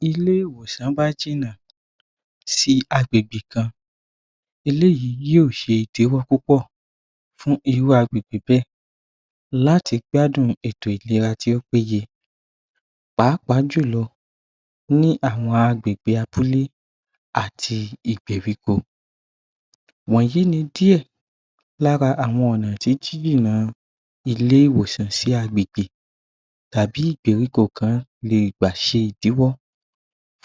Bíi Ilé-ìwòsàn bá jìnà sí agbègbè kan eléyìí yóò ṣe ìdíwọ́ púpọ̀ fún irú agbègbè bẹ́ẹ̀ láti gbádùn ètò ìléra tí ó péye pàápàá jùlọ ní àwọn agbègbè abúlé áti ìpèríko wọ̀nyìí ni díè lára àwọn ọ̀nà tí jíjìnà ilé-ìwòsàn sí agbègbè tàbí ìpèríko kan lé gbà ṣe ìdíwọ́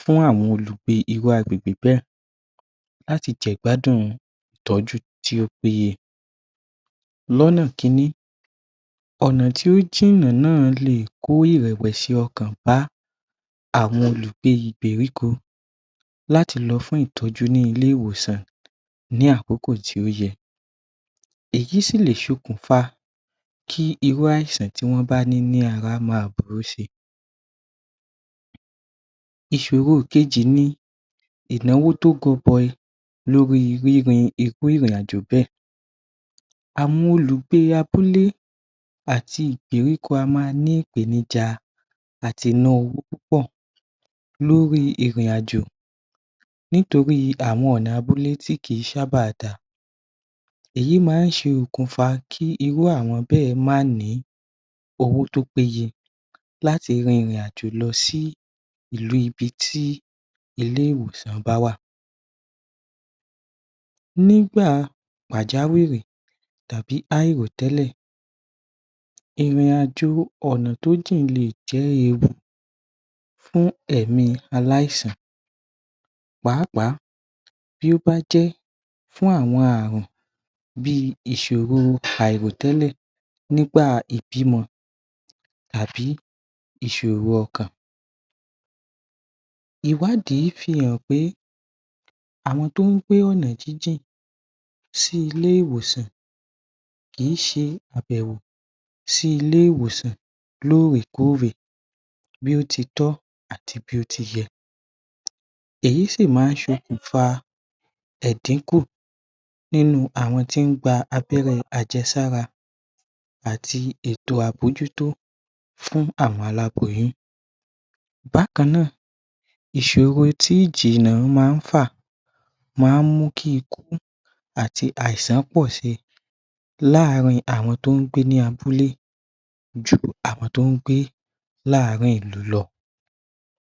fún àwọn olùgbé irú agbègbè bẹ́ẹ̀ láti jẹ ìgbádùn ìtọ́jú tí ó péye lọ́nà Kínní ọ̀nà tí ó jìnà lè kòó ìrẹ̀wẹ̀sí ọkàn bá àwọn olùgbé ìpèríko láti ló fún ìtọ́jú ní ilé-ìwòsàn ní àkókò tí ó yẹ èyí sì lè ṣe okùnfa kí irú àìsàn tí wọ́n bá ní ara ma burú si ìṣòro kejì ni ìnáwó tí ó goboyi lórí rírin irú ìrìn àjò bẹ́ẹ̀ àwọn olùgbé abúlé àti ìpèríko á ma ní ìpèníjà àti ná owó púpọ̀ lórí ìrìn-àjò nítorí àwọn ọ̀nà abúlé tí kì í sábà da èyí máa ń ṣokùnfà kí irú àwọn bẹ́ẹ̀ má ni owó tí ó péye láti rin ìrìn-àjò lọ sí ìlú ibi tí ilé-ìwòsàn bá wà nígbà pàjáwìrì tàbí àìrò tẹ́lẹ̀ ìrìn àjò ọ̀nà tí ó jì léè jẹ́ ewu fún ẹ̀mí aláìsàn pàápàá bí ó bá jẹ́ fún àwọn àrùn bí ìṣòro àìrò tẹ́lẹ̀ nígbà ìbímọ àbí ìṣòro ọkàn ìwádìí fi hàn pé àwọn tí wọ́n ń gbé ọ̀nà jíjì sí ilé-ìwòsàn kì í ṣe àbẹ̀wò sí ilé-ìwòsàn lóòrè kóòrè bí o titọ́ àti bí ó ti yẹ èyí sì máa ń ṣokùnfà èdínkù àwọn tí ń gba abẹ́rẹ́ àjẹ́sára àti ètò àmójútó fún àwọn Aláboyún bákan náà ìṣòro tí ìjìnà máa ń fà máa ń mú kí ikú àti àìsàn pọ̀si láàárín àwọn tí wọ́n ń gbé ní abúlé ju àwọn tó ń gbé ní àárín ìlú lọ